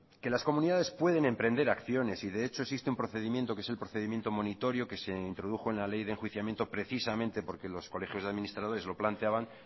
que las comunidades pueden emprender acciones y de hecho existe un procedimiento que es el procedimiento monitorio que se introdujo en la ley de enjuiciamiento precisamente porque los colegios de administradores lo planteaban